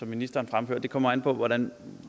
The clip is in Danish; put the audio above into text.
ministeren fremførte kommer an på hvordan